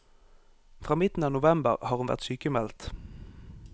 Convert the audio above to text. Fra midten av november har hun vært sykmeldt.